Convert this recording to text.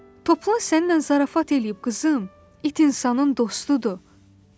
Toplan səninlə zarafat eləyib, qızım, it insanın dostudur, dedi.